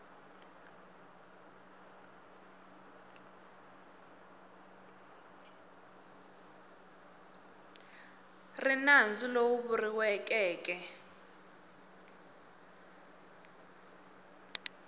ri nandzu lowu vuriweke eke